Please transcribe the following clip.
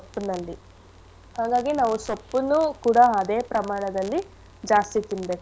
ಸೊಪ್ಪಿನಲ್ಲಿ ಹಾಗಾಗಿ ನಾವು ಸೊಪ್ಪುನ್ನು ಕೂಡ ಅದೇ ಪ್ರಮಾಣದಲ್ಲಿ ಜಾಸ್ತಿ ತಿನ್ಬೇಕು.